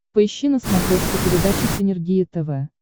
поищи на смотрешке передачу синергия тв